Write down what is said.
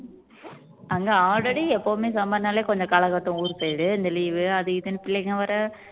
அங்க already எப்பவுமே summer னாலே கொஞ்சம் கலக்க ஊர் போயிடு இந்த leave வு அது இதுன்னு பிள்ளைங்க வர